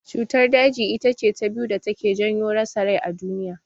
Cutar daji itace ta biyu da take janyo rasa rai a duniya.